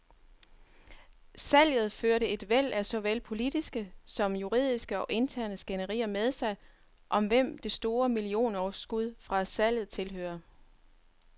Salget førte et væld af såvel politiske som juridiske og interne skænderier med sig, om hvem det store millionoverskud fra salget tilhører.